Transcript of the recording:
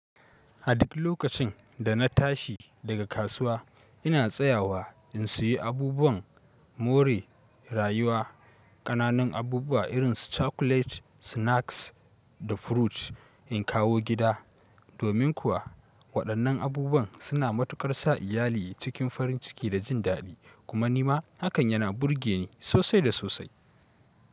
A duk lokacin da na tashi daga kasuwa ina tsayawa in sayi abubuwan more rayuwa. Kananan abubuwa irin su cakulet, snaks da fruit in kawo gida. Domin kuwa waɗannan abubuwan suna matuƙar sa iyali cikin farin ciki da jin daɗi. Kuma nima hakan yana burge ni sosai da sosai.